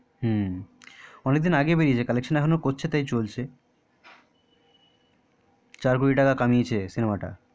হম অনেক দিন আগেই বেরিয়েছে collection করছে তাই এখনো চলছে চার কোটি টাকা কামিয়েছে সিনেমাটা